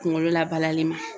Kunkolo labalali ma.